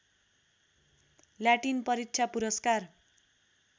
Latin परीक्षा पुरस्कार